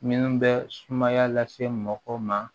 Minnu bɛ sumaya lase mɔgɔ ma